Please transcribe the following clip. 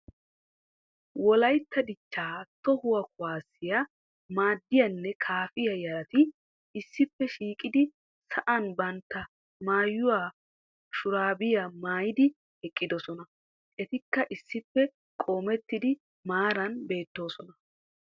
wolaytta dichchaa toho kuwaassiya maadiyaanne kaafiya yaratti issippe shiiqidi sa'an bantta maayuwa shuraabiya maayidi eqqidosona. Etikka issippe qoomettidi maaran beettoosona.